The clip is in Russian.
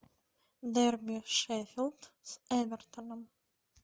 дерби шеффилд с эвертоном